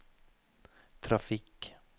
trafikk